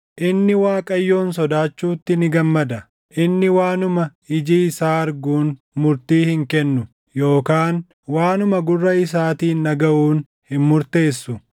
inni Waaqayyoon sodaachuutti ni gammada. Inni waanuma iji isaa arguun murtii hin kennu; yookaan waanuma gurra isaatiin dhagaʼuun hin murteessu;